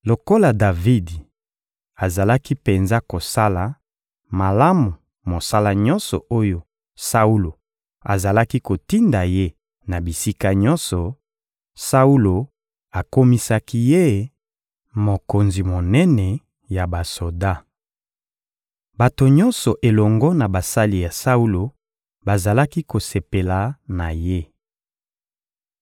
Lokola Davidi azalaki penza kosala malamu mosala nyonso oyo Saulo azalaki kotinda ye na bisika nyonso, Saulo akomisaki ye mokonzi monene ya basoda. Bato nyonso elongo na basali ya Saulo bazalaki kosepela na ye.